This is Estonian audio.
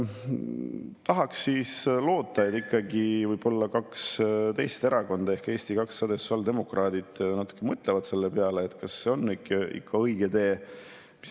Tahaks loota, et võib-olla kaks teist erakonda ehk Eesti 200 ja sotsiaaldemokraadid mõtlevad natuke selle peale, kas see on ikka õige tee.